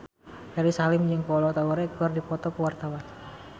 Ferry Salim jeung Kolo Taure keur dipoto ku wartawan